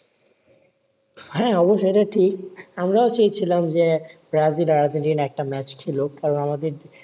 হ্যাঁ অবশ্যই এটা ঠিক আমরাও চেয়েছিলাম যে ব্রাজিল আর আর্জেন্টিনা একটা ম্যাচ খেলুক কারণ আমাদের